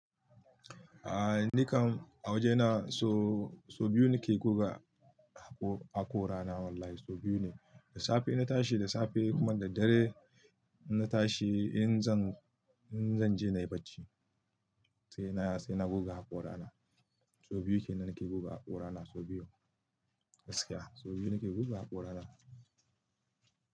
Aaa, nikan a waje na so, so biyu nake goga haƙorana wallahi so biyu ne. Da safe in na tashi da safe kuma da daddare in na tashi in zan, in zan je na yi bacci sai na, sai na goga haƙorana. So biyu kenan nake goga haƙorana so biyu. Gaskiya so biyu nake goga haƙorana.